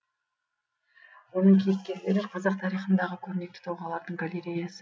оның кейіпкерлері қазақ тарихындағы көрнекті тұлғалардың галереясы